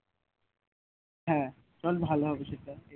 হ্যাঁ চল ভালো হবে সেটা